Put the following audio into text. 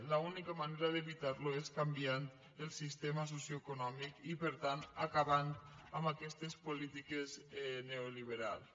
l’única manera d’evitar lo és canviant el sistema socioeconòmic i per tant acabant amb aquestes polítiques neoliberals